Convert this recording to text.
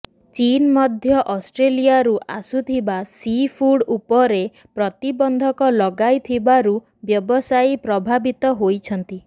ଚୀନ୍ ମଧ୍ୟ ଅଷ୍ଟ୍ରେଲିଆରୁ ଆସୁଥିବା ସି ଫୁଡ୍ ଉପରେ ପ୍ରତିବନ୍ଧକ ଲଗାଇଥିବାରୁ ବ୍ୟବସାୟୀ ପ୍ରଭାବିତ ହୋଇଛନ୍ତି